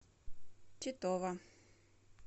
титова